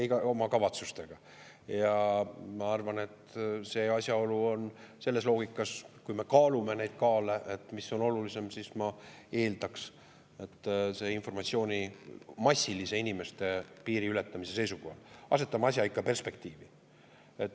Ma eeldan, et selles loogikas, kui me kaalume, mis on olulisem, tuleb informatsiooni inimeste massilise piiriületamise seisukohalt võttes asetada ikka perspektiivi.